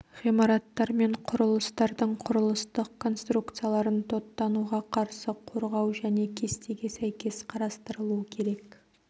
ғимараттар мен құрылыстардың құрылыстық конструкцияларын тоттануға қарсы қорғау және кестеге сәйкес қарастырылуы керек